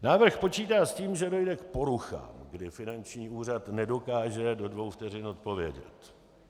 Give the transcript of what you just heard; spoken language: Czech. Návrh počítá s tím, že dojde k poruchám, kdy finanční úřad nedokáže do dvou vteřin odpovědět.